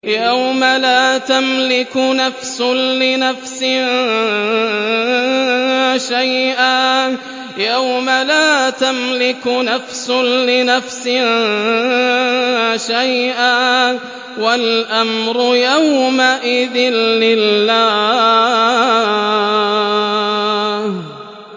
يَوْمَ لَا تَمْلِكُ نَفْسٌ لِّنَفْسٍ شَيْئًا ۖ وَالْأَمْرُ يَوْمَئِذٍ لِّلَّهِ